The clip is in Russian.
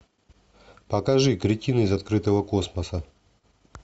покажи кретин из открытого космоса